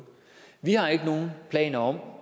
vi har ikke nogen planer om